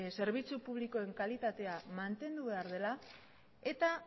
zerbitzu publikoen kalitatea mantendu behar dela eta